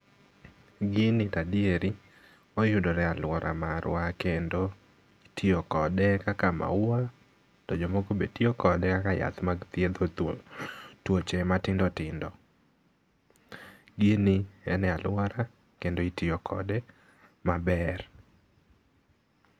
Gini to adieri, oyudore e aluora marwa kendo itiyo kode kaka mauwa to jomoko bende tiyo kode kaka yath mag thiedho thuol tuoche matindo tindo. Gini en e aluora kendo itiyo kode maber.